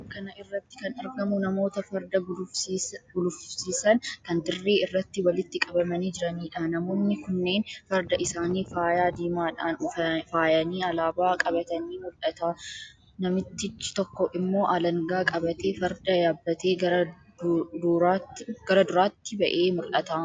Suuraa kana irratti kan argamu namoota farda gulufsiisan kan dirree irratti walitti qabamanii jiraniidha. Namoonni kunneen farda isaanii faayaa diimaadhaan faayanii, alaabaa qabatanii mul'ata. Namtichi tokko immoo alangaa qabatee, farda yaabbatee gara duraatti ba'ee mul'ata.